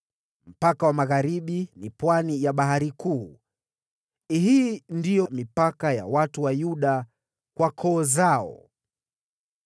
Mpaka wa magharibi ni pwani ya Bahari Kuu. Hii ndiyo mipaka ya watu wa Yuda kwa koo zao.